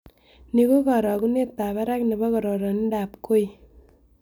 Ni ko karogunetap barak ne po kororindoap kooi